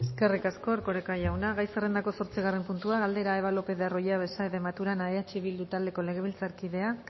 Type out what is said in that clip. eskerrik asko erkoreka jauna gai zerrendako zortzigarren puntua galdera eva lopez de arroyabe saez de maturana eh bildu taldeko legebiltzarkideak